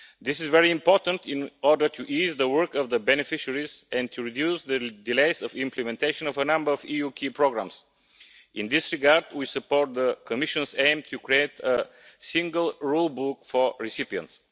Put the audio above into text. This is very important in order to ease the work of the beneficiaries, and to reduce the delays in implementation of a number of EU key programmes. In this regard, we support the Commission's aim of creating a single rule book for recipients.